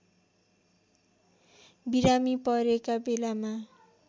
बिरामी परेका बेलामा